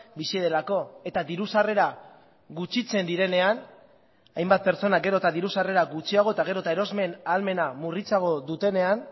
bizi delako eta diru sarrera gutxitzen direnean hainbat pertsona gero eta diru sarrera gutxiago eta gero eta erosmen ahalmena murritzago dutenean